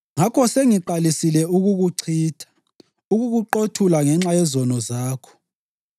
Ngakho sengiqalisile ukukuchitha, ukukuqothula ngenxa yezono zakho.